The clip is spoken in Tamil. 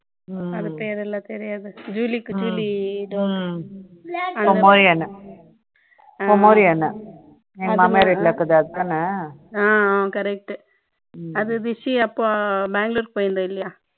அது பெயர் எல்லாம் தெரியாது julie க்கு juliepomeranian pomeranian எங்க மாமியார் வீட்ல இருக்குது அதுதானே correct அந்த rishi அப்போ பெங்களூர் போயிருந்தார் இல்லையா